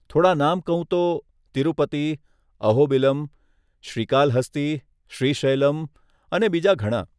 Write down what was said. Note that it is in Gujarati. થોડા નામ કહું તો, તિરુપતિ, અહોબિલમ, શ્રીકાલહસ્તી, શ્રીશૈલમ અને બીજા ઘણાં..